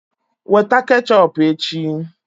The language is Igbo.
Weta ketchọp echi!